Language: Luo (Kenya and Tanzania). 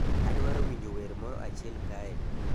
adwaro winjo wer moro achiel kae